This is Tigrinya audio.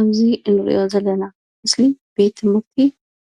እዚ እንሪኦ ዘለና ምስሊ ቤት ትምህርቲ